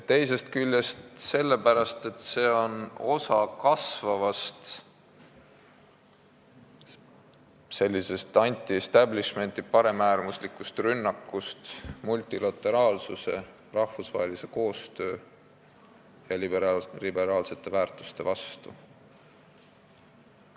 Teisest küljest on asi selles, et kasvab n-ö anti-establishment'i osa, on rohkem paremäärmuslikke rünnakuid multilateraalsuse, rahvusvahelise koostöö ja liberaalsete väärtuste vastu.